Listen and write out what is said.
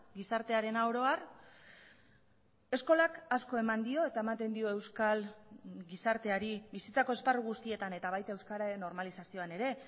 gizartearena oro har eskolak asko eman dio eta ematen dio euskal gizarteari bizitzako esparru guztietan eta baita euskararen normalizazioan ere